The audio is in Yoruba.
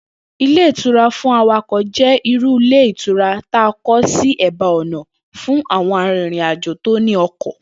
Ilé ìtura fún awakò̩ jé̩ irú ilé ìtura ta kó̩ sí è̩bá ò̩nà fún àwo̩n arìnrìnàjò tó ní o̩kò̩